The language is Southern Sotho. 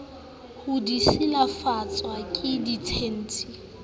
ha di silafatswe ke ditshintshi